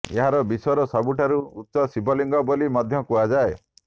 ଏହା ବିଶ୍ୱର ସବୁଠାରୁ ଉଚ୍ଚ ଶିବଲିଙ୍ଗ ବୋଲି ମଧ୍ୟ କୁହାଯାଏ